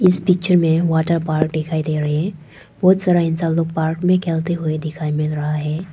इस पिक्चर में water park दिखाई दे रहे है बहोत सारा इंसान लोग पार्क में खेलते हुए दिखाई मिल रहा है।